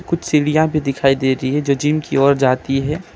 सीढ़ियां भी दिखाई दे रही है जो जिम की ओर जाती है।